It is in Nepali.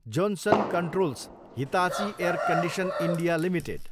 Johnson Controls, Hitachi Air Condition India limited